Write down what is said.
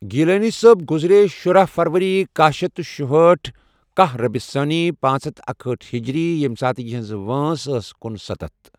گیٖلانی صٲب گُزرے شُراہ فروری کاہ شیتھ تہٕ شُہاٹُھ کاہ ربیع الثانی پانژھ ہتھ اکیأٹھ ہِجری ، ییمہِ ساتہٕ یِہٕنٛز وٲنژھ أس کنُستتَھ۔